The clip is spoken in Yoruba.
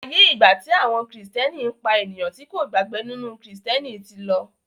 aiyé igba ti àwọn Kristiani pá ènìyàn tí kò gbàgbó nínú Kristiẹniti tí ló.